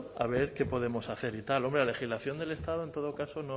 a ver qué podemos hacer y tal hombre la legislación del estado en todo caso